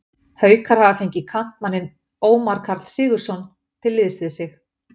Haukar hafa fengið kantmanninn Ómar Karl Sigurðsson til liðs við sig.